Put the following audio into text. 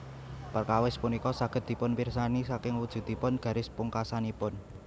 Perkawis punika saged dipunpirsani saking wujudipun garis pungkasanipun